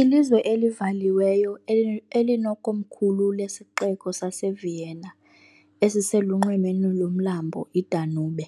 Ilizwe elivaliweyo, elinekomkhulu lesixeko saseVienna esiselunxwemeni lomlambo iDanube,